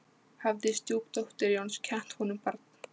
Hafði stjúpdóttir Jóns kennt honum barn.